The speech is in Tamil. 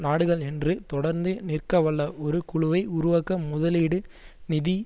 நாடுகள் என்று தொடர்ந்து நிற்க வல்ல ஒரு குழுவை உருவாக்க முதலீடு நிதி